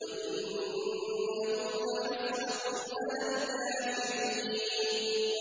وَإِنَّهُ لَحَسْرَةٌ عَلَى الْكَافِرِينَ